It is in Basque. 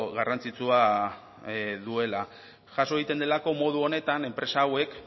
garrantzitsua duela jaso egiten delako modu honetan enpresa hauek